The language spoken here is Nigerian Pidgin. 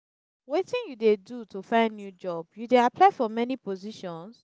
wetin you dey do to find new job you dey apply for many positions?